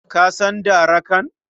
Ka san darakan?